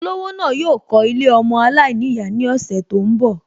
Olówó náà yóò kọ́ Ilé ọmọ aláìníyàá ní ọ̀sẹ̀ tó ń bọ̀